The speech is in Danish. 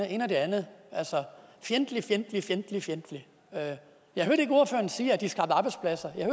ene og det andet altså fjendtligt fjendtligt fjendtligt fjendtligt jeg hørte ikke ordføreren sige at de skabte arbejdspladser jeg